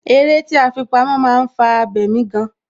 Eré tí a fi pamó, máa ń fà abemi gan.